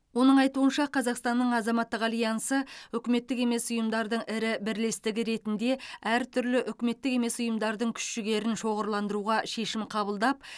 оның айтуынша қазақстанның азаматтық альянсы үкіметтік емес ұйымдардың ірі бірлестігі ретінде әр түрлі үкіметтік емес ұйымдардың күш жігерін шоғырландыруға шешім қабылдап